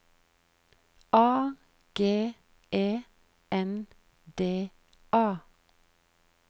A G E N D A